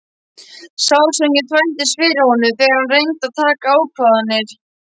Sársaukinn þvældist fyrir honum þegar hann reyndi að taka ákvarðanir.